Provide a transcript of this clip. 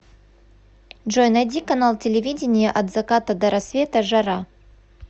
джой найди канал телевидения от заката до рассвета жара